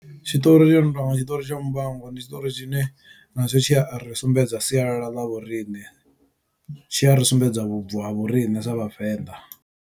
Tshitori tshi no tonga tshiṱori tsha muvhango ndi tshiṱori tshine na tsho tshiya ri sumbedza sialala ḽa vhoriṋe tshi a ri sumbedza vhubvo ha vhorine sa vhavenḓa.